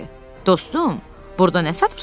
Dostum, burada nə satırsan?